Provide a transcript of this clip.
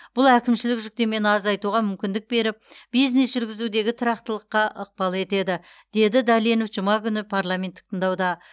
бұл әкімшілік жүктемені азайтуға мүмкіндік беріп бизнес жүргізудегі тұрақтылыққа ықпал етеді деді дәленов жұма күні парламенттік тыңдауда